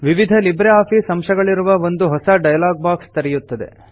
ವಿವಿಧ LibreOffice ಅಂಶಗಳಿರುವ ಒಂದು ಹೊಸ ಡೈಲಾಗ್ ಬಾಕ್ಸ್ ತೆರೆಯುತ್ತದೆ